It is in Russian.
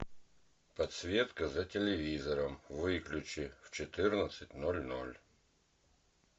подсветка за телевизором выключи в четырнадцать ноль ноль